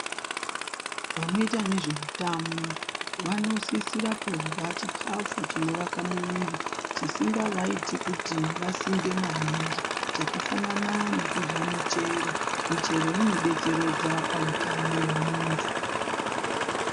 Vanoita nezvemitamu vanosisira kurya chikafu chinovaka muviri chisingavaiti kuti vasimbe maningi chakafanana nekudya michero. Michero inobetseredza pautano hwemuntu.